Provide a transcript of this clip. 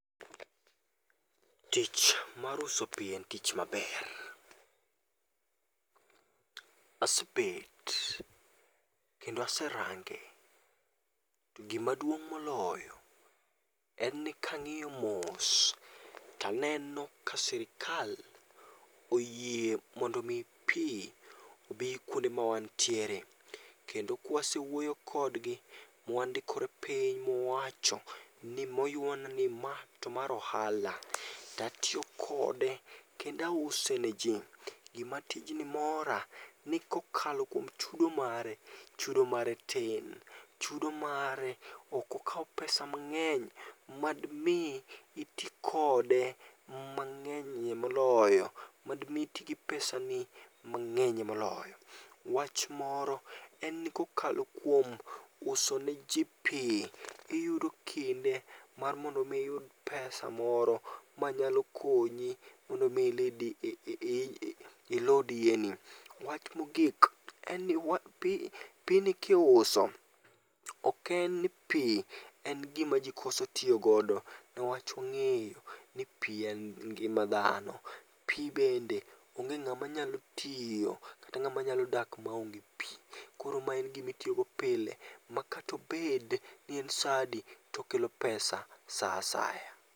Tich mar uso pi en tich maber. Asebet kendo aserange, to gimaduong' moloyo en ni kang'iyo mos taneno ka sirikal oyie mondo mi pi obi kuonde mawantiere. Kende kwasewuoyo kodgi, mwandikore piny mwacho ni moywana ni ma to mar ohala. Tatiyo kode kendause ne ji. Gima tijni mora ni kokalo kuom chudo mare, chudo mare tin. Chudo mare okokaw pesa mang'eny, madmi iti kode mang'enyie moloyo. Madmi iti gi pesa ni mang'enye moloyo. Wach moro en ni kokalo kuom uso ne ji pi, iyudo kinde mar mondo mi iyud pesa moro manyalo konyi mondo mi ilid ilud iyeni. Wach mogik en ni pi ni kiuso, ok en ni pi en gima ji koso tiyo godo. Niwach wang'eyo ni pi en ngima dhano. Pi bende onge ng'ama nyalo tiyo kata ng'ama nyalo dak maonge pi. Koro ma en gimitiyogo pile, makatobed nien sa adi tokelo pesa sa asaya.